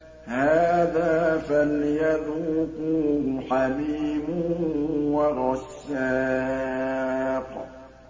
هَٰذَا فَلْيَذُوقُوهُ حَمِيمٌ وَغَسَّاقٌ